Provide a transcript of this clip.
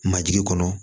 Majigi kɔnɔ